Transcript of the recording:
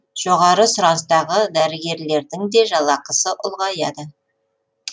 жоғары сұраныстағы дәрігерлердің де жалақысы ұлғаяды